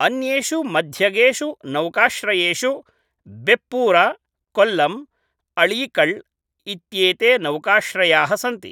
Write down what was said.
अन्येषु मध्यगेषु नौकाश्रयेषु बेप्पूर्, कोल्लम्, अळीकल् इत्येते नौकाश्रयाः सन्ति।